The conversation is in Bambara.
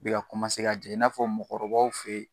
Bi ka ka jigin, i n'a fɔ mɔgɔ kɔrɔbaw fe yen